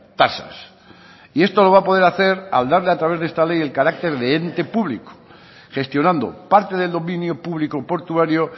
tasas y esto lo va a poder hacer al darle a través de esta ley el carácter de ente público gestionando parte del dominio público portuario